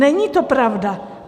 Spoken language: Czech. Není to pravda.